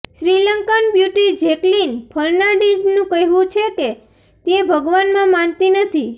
Sri Lankan beauty Jacqueline ફર્નાન્ડીઝનું કહેવું છે કે તે ભગવાનમાં માનતી નથી